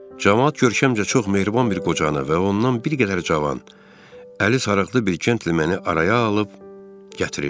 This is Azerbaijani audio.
Camaat görkəmcə çox mehriban bir qocanı və ondan bir qədər cavan, əli sarıqlı bir centlemeni məni araya alıb gətirirdi.